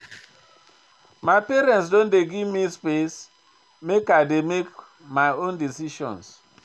My parents don dey give me space make I dey make my own decisions.